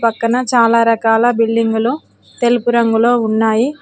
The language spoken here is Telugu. పక్కన చాలా రకాల బిల్డింగులు తెలుపు రంగులో ఉన్నాయి.